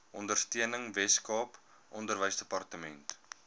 ondersteuning weskaap onderwysdepartement